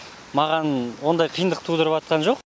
маған ондай қиындық тудырып жатқан жоқ